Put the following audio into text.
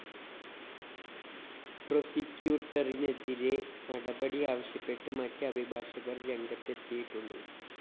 പ്രോസിക്യൂട്ടറിനെതിരെ നടപടി ആവശ്യപ്പെട്ട് മറ്റ് അഭിഭാഷകര്‍ രംഗത്തെത്തിയിട്ടുണ്ട്